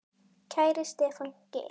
Kæri Stefán Geir.